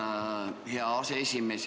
Tänan, hea aseesimees!